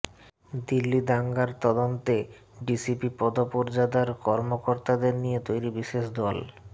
দিল্লি দাঙ্গার তদন্তে ডিসিপি পদ পর্যাদার কর্মকর্তাদের নিয়ে তৈরি বিশেষ দল